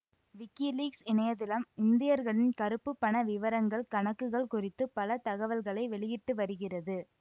WikiLeaks இணையதளம் இந்தியர்களின் கறுப்பு பண விவரங்கள் கணக்குகள் குறித்து பல தகவல்களை வெளியிட்டு வருகிறது